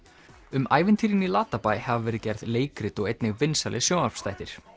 um ævintýrin í Latabæ hafa verið gerð leikrit og einnig vinsælir sjónvarpsþættir